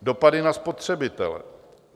"Dopady na spotřebitele.